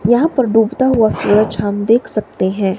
यहां पर डूबता हुआ सूरज हम देख सकते हैं।